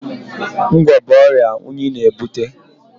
Ngwọ̀ bụ ọrịa unyi na-ebute.